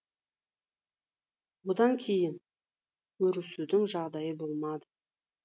одан кейін көрісудің жағдайы болмады